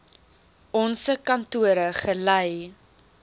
onse kantore gelei